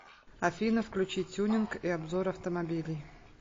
афина включи тюнинг и обзор автомобилей